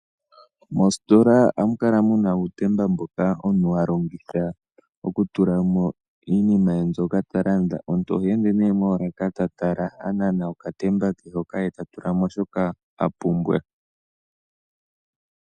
Moositola ohamu kala mu na uutemba mboka omuntu ha longitha okutula mo iinima ye mbyoka ta landa. Omuntu oha ende nee moolaka ta tala, a nana okatemba ke hoka e ta tula mo shoka a pumbwa.